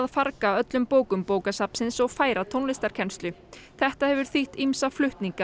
farga öllum bókum bókasafnsins og færa tónlistarkennslu þetta hefur þýtt ýmsa flutninga